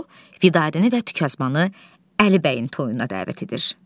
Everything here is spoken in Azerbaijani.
Bu Vidadi və Tükəzbanı Əlibəyin toyuna dəvət edir.